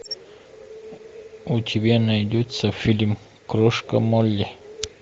у тебя найдется фильм крошка молли